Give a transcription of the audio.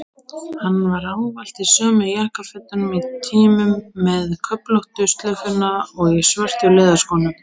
Hann var ávallt í sömu jakkafötunum í tímum, með köflóttu slaufuna og í svörtu leðurskónum.